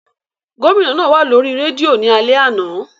Gomina naa wa lori redio ni alẹ ana.